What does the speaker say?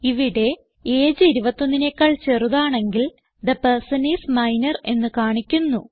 ഇവിടെ എജിഇ 21നെക്കാൾ ചെറുതാണെങ്കിൽ തെ പെർസൻ ഐഎസ് മൈനർ എന്ന് കാണിക്കുന്നു